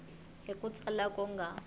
hi ku tsala ku nga